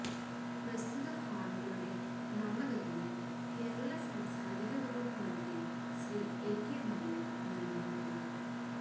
പ്രസ്തുത ഹാളുകളുടെ നാമകരണം കേരള സാംസ്കാരിക വകുപ്പ് മന്ത്രി ശ്രീ എ കെ ബാലൻ നിർവഹിക്കുന്നു